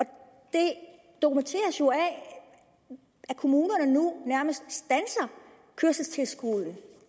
det dokumenteres jo af at kommunerne nu nærmest standser kørselstilskuddet